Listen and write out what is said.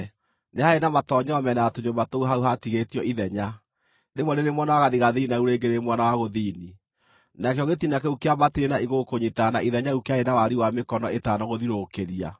Nĩ haarĩ na matoonyero mĩena ya tũnyũmba tũu hau haatigĩtio ithenya, rĩmwe rĩrĩ mwena wa gathigathini na rĩu rĩngĩ rĩrĩ mwena wa gũthini; nakĩo gĩtina kĩu kĩambatĩrie na igũrũ kũnyiitana na ithenya rĩu kĩarĩ na wariĩ wa mĩkono ĩtano gũthiũrũrũkĩria.